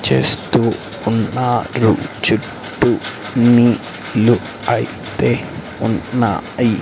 చేస్తూ ఉన్నారు చుట్టూ నీళ్లు అయితే ఉన్నాయ్.